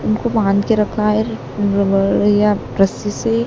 उनको बांध के रखा है रबड़ या रस्सी से--